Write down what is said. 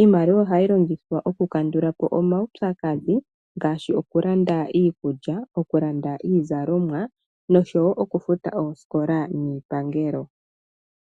Iimaliwa ohayi longithwa okukandula po omaupyakadhi ngaashi okulanda iikulya, iizalomwa noshowo okufuta oosikola niipangelo.